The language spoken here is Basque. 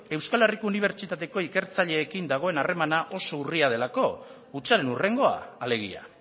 euskal herriko unibertsitateko ikertzaileekin dagoen harreman oso urria delako hutsaren hurrengoa alegia